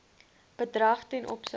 bedrag ten opsigte